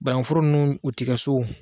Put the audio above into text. Banaŋuforo nunnu u ti kɛ so o